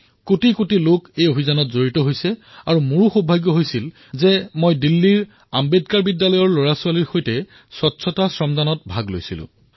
কোটি কোটি লোকে এই অভিযানৰ সৈতে জড়িত হৈছে আৰু মইও দিল্লীৰ আম্বেদকাৰ বিদ্যালয়ত শিক্ষাৰ্থীসকলৰ সৈতে শ্ৰমদান কৰাৰ সুযোগ লাভ কৰিলো